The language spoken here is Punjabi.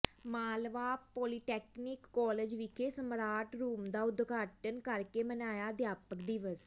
ਮਾਲਵਾ ਪੌਲੀਟੈਕਨਿਕ ਕਾਲਜ ਵਿਖੇ ਸਮਾਰਟ ਰੂਮ ਦਾ ਉਦਘਾਟਨ ਕਰਕੇ ਮਨਾਇਆ ਅਧਿਆਪਕ ਦਿਵਸ